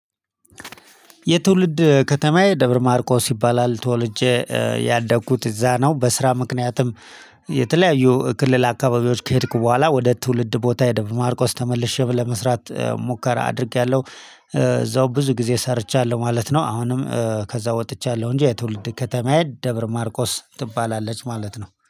የትውልድ ከተማዬ ደብር ማርቆስ ይባላል ተወልጄ ያደግኩት እዛ ነው። በስራ ምክንያትም የተለያዩ ክልል አካባቢዎች ከሄድኩ በኋላ ወደ ትውልድ ቦታ ሄደ በማርቆስ ተመልሼ ብ ለመስራት ሙከራ አድርጌያለሁ። እዛው ብዙ ጊዜ ሰርቻለሁ ማለት ነው። አሁንም ከዛ ወጥቻለሁ እንጂ የትውልድ ከተማዬ ደብር ማርቆስ ትባላለች ማለት ነው።